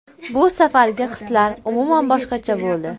Bu safargi hislar umuman boshqacha bo‘ldi.